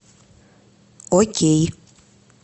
окей